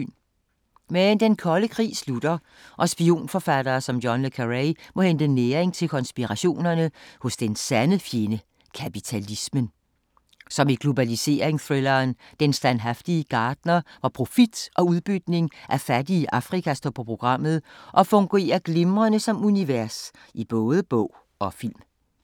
Men den kolde krig slutter og spionforfattere som John Le Carré må hente næring til konspirationerne hos den sande fjende; kapitalismen. Som i globaliserings-thrilleren Den standhaftige gartner, hvor profit og udbytning af fattige i Afrika står på programmet og fungerer glimrende som univers i både bog og film.